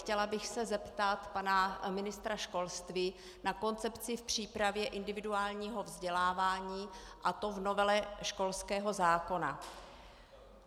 Chtěla bych se zeptat pana ministra školství na koncepci v přípravě individuálního vzdělávání, a to v novele školského zákona.